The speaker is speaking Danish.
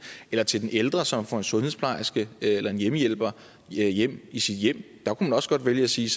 eller til den ældre som får en sundhedsplejerske eller en hjemmehjælper hjem i sit hjem der kunne man også godt vælge at sige